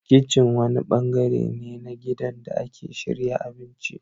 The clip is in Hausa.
Kitchen wani bangare ne na gidan da ake shirya abinci.